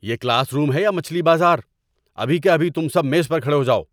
یہ classroom ہے یا مچھلی بازار؟ ابھی کے ابھی تم سب میز پر کھڑے ہو جاؤ!